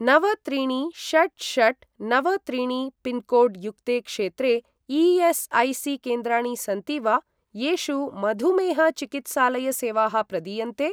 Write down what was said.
नव त्रीणि षट् षट् नव त्रीणि पिन्कोड् युक्ते क्षेत्रे ई.एस्.ऐ.सी.केन्द्राणि सन्ति वा, येषु मधुमेह चिकित्सालय सेवाः प्रदीयन्ते?